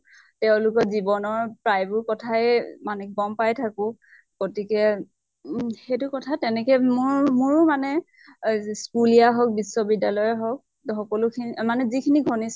তেওঁলোকৰ জীৱনৰ প্ৰায় বোৰ কথাই মানে গম পাই থাকো। গতিকে উম সেইটো কথা, তেনেকে মোৰ মোৰো মানে অহ জ স্কুলীয়া হওঁক বিশ্ব্বিদ্য়ালৰ হওঁক সকলো খিনি মানে যিখিনি ঘন্তিষ্ঠ